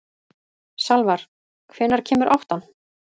Salvar, hvenær kemur áttan?